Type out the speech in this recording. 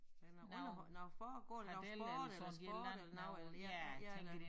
Er det noget underholdning nåh foregår der noget sport eller sport eller noget eller ja